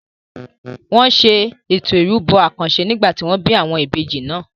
Wọn ṣe Ètò ìrúbọ àkànṣe nígbà tí wọ́n bí àwọn ìbejì náà.